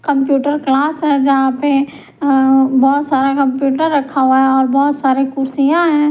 Computer class है जहां पे बहुत सारा कंप्यूटर रखा हुआ है और बहुत सारे कुर्सियां हैं।